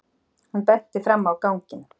Hún benti fram á ganginn.